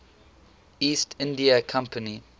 east india company